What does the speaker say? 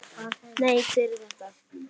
Nei, hver er þetta?